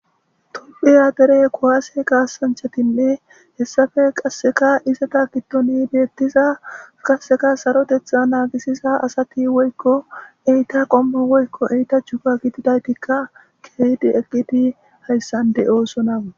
tuphiya dere kuwaase kaasanchatinne hessafe qasseka iseta gittoni deettiza qasseka sarotetha naagisiza asati woykko eyta qommo woykko eita chuka gididaytikka keydi eqqiti hayssande oosonawu